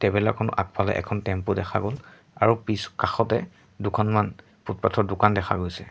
Traveller খন আগফালে এখন টেম্পো দেখা গ'ল আৰু পিছ কাষতে দুখনমান ফুটপাথ ত দোকান দেখা গৈছে।